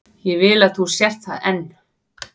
Ég vil að þú sért það enn.